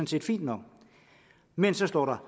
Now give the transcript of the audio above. set fint nok men så står der